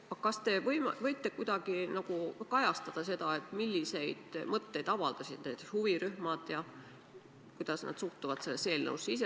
Aga kas te võite kuidagi kajastada, milliseid mõtteid need huvirühmad avaldasid ja kuidas nad suhtuvad sellesse eelnõusse?